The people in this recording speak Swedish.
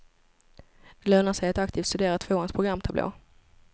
Det lönar sig att aktivt studera tvåans programtablå.